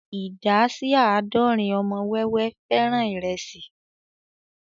Ìdá sí àádọ́rin ọmọ wẹ́wẹ́ fẹ́ràn ìrẹsì